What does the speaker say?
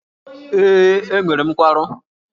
Ee, enwere m nkwarụ.